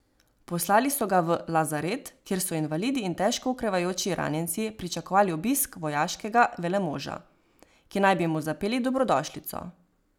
Poslali so ga v lazaret, kjer so invalidi in težko okrevajoči ranjenci pričakovali obisk vojaškega velmoža, ki naj bi mu zapeli dobrodošlico.